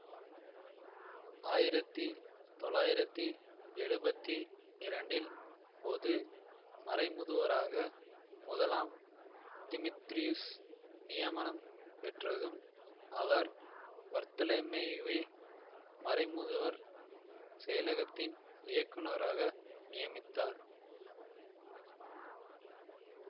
ஆயிரத்தி தொளாயிரத்தி எழுபத்தி இரண்டில் பொது மறைமுதுவராக முதலாம் திமீத்ரியுஸ் நியமனம் பெற்றதும் அவர் பர்த்தலமேயுவை மறைமுதுவர் செயலகத்தின் இயக்குநராக நியமித்தார்